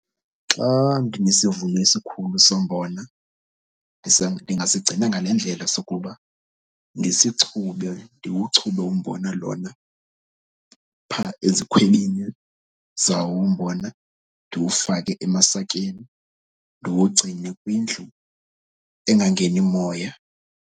Xa ndinesivuno esikhulu sombona ndingasigcina ngale ndlela sokuba ngesichube ndiwuchube umbona lona phaa ezikhwebini zawo umbona. Ndiwufake emasakeni, ndiwugcine kwindlu angangeni moya.